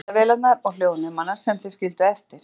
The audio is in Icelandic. Finnið myndavélarnar og hljóðnemana sem þeir skildu eftir.